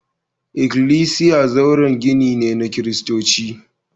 Ikklisiya zauren gini ne na Kiristanci